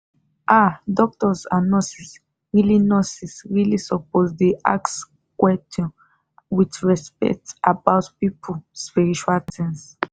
ah doctors and nurses really nurses really suppose dey ask quetion with respect about people spiritual tins